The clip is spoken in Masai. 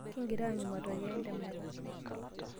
Kingira aanyu matokeo entemata.